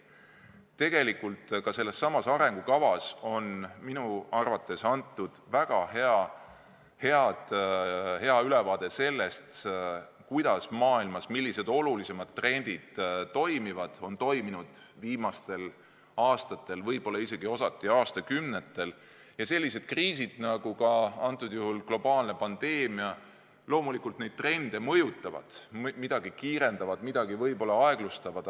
Tegelikult on sellessamas arengukavas antud minu arvates väga hea ülevaade sellest, millised olulisemad trendid on maailmas viimastel aastatel või osalt isegi aastakümnetel olnud ja kuidas kriisid, nagu ka nüüd see globaalne pandeemia neid trende mõjutavad, kuidas midagi kiirendavad, midagi võib-olla aeglustavad.